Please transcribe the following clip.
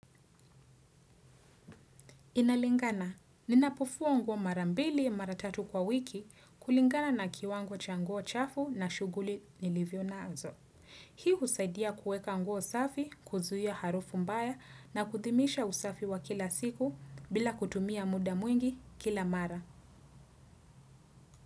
Inalingana, ninapofua nguo mara mbili mara tatu kwa wiki kulingana na kiwango cha nguo chafu na shuguli nilivyo naazo. Hii husaidia kuweka nguo safi, kuzuia harufu mbaya na kudhimisha usafi wa kila siku bila kutumia muda mwingi kila mara.